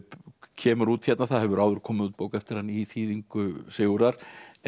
kemur út hérna það hefur áður komið út bók eftir hann í þýðingu Sigurðar